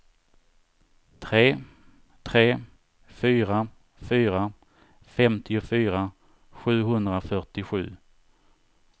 tre tre fyra fyra femtiofyra sjuhundrafyrtiosju